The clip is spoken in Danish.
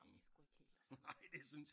Det er sgu ikke helt det samme